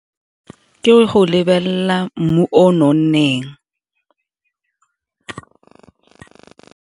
Ke go lebelela mmu o nonneng.